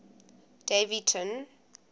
daveyton